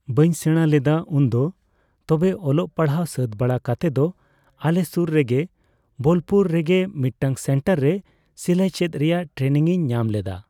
ᱵᱟᱹᱧ ᱥᱮᱬᱟ ᱞᱮᱫᱟ ᱩᱱᱫᱚ᱾ ᱛᱚᱵᱮ ᱚᱞᱚᱜ ᱯᱟᱲᱦᱟᱜ ᱥᱟᱹᱛ ᱵᱟᱲᱟ ᱠᱟᱛᱮ ᱫᱚ ᱟᱞᱮ ᱥᱩᱨ ᱨᱮᱜᱮ ᱵᱳᱞᱯᱩᱨ ᱨᱮ ᱢᱤᱫᱴᱟᱝ ᱥᱮᱱᱴᱟᱨ ᱨᱮ ᱥᱤᱞᱟᱹᱭ ᱪᱮᱫ ᱨᱮᱭᱟᱜ ᱴᱨᱮᱱᱤᱝᱤᱧ ᱧᱟᱢ ᱞᱮᱫᱟ᱾